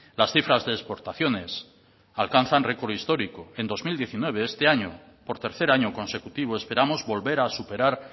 las cifras de exportaciones alcanzan récord histórico en dos mil diecinueve este año por tercer año consecutivo esperamos volver a superar